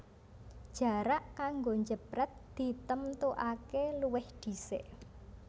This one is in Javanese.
Jarak kanggo jeprèt ditemtuaké luwih dhisik